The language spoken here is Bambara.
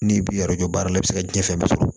N'i b'i baara la i bɛ se ka diɲɛ fɛn bɛɛ sɔrɔ